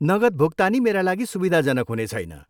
नगद भुक्तानी मेरा लागि सुविधाजनक हुनेछैन।